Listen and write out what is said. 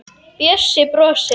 Bjössi brosir.